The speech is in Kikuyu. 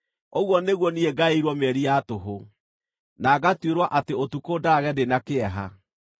ũguo nĩguo niĩ ngaĩirwo mĩeri ya tũhũ, na ngatuĩrwo atĩ ũtukũ ndaarage ndĩ na kĩeha.